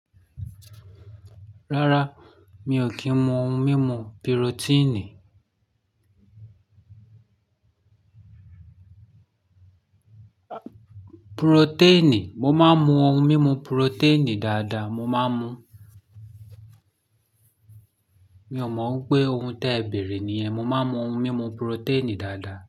Rárá, mi ò kí ń mu ohun mímu purotíìnì. Purotẹ́ẹ̀nì, mo máa ń mu ohun mímu purotẹ́ẹ̀nì dáadáa, mo máa ń mu. Mi ò mọ pé ohun tẹ́ ń bẹ̀rẹ̀ ní ẹ. Mo máa ń mu ohun mímu purotẹ́ẹ̀nì dáadáa.